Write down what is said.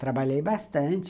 Trabalhei bastante.